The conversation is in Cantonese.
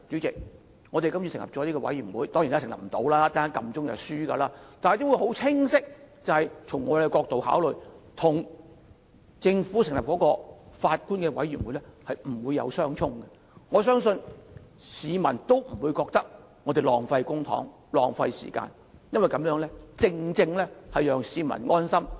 這個專責委員會跟政府成立由法官領導的調查委員會不會相沖，我相信市民也不會認為我們浪費公帑或時間，因為這樣做，正正可讓市民安心。